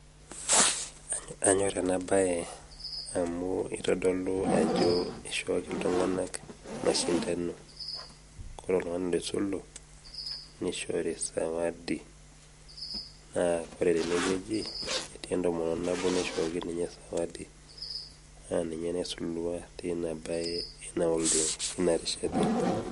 Anyor enabae, amu itodolu ajo ishooki iltung'anak mashindano. Kore oltung'ani loisulu, nishori sawadi. Naa kore tenewueji, etii entomononi nabo naishooki ninye sawadi, na ninye naisulua teina bae inolong' duo, inarishata.